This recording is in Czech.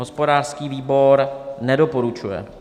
Hospodářský výbor nedoporučuje.